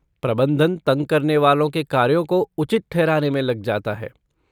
प्रबंधन तंग करने वालों के कार्यों को उचित ठहराने में लग जाता है।